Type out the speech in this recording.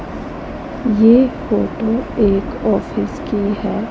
ये फोटो एक ऑफिस की है।